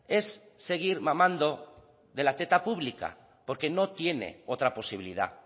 es seguir mamando de la teta pública porque no tiene otra posibilidad